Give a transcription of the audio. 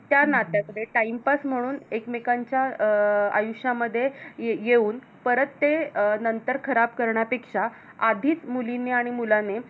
ज्या नात्यात Timepass म्हणून एकमेकांच्या अं आयुष्यामध्ये येऊन परत ते नंतर खराब करण्यापेक्षा आधीच मुलीनी आणि मुलाने